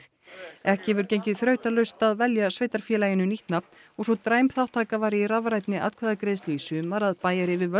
ekki hefur gengið þrautalaust að velja sveitarfélaginu nýtt nafn og svo dræm þátttaka var í rafrænni atkvæðagreiðslu í sumar að bæjaryfirvöld